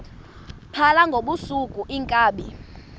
phala ngobusuku iinkabi